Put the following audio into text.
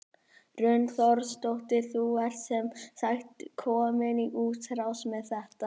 Hrund Þórsdóttir: Þú ert sem sagt komin í útrás með þetta?